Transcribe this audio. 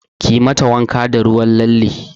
Kiyi mata wanka da ruwan lalle!